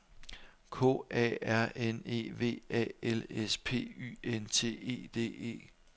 K A R N E V A L S P Y N T E D E